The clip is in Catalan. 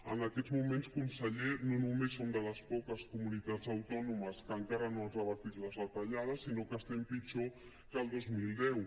en aquests moments conseller no només som de les poques comunitats autònomes que encara no han revertit les retallades sinó que estem pitjor que el dos mil deu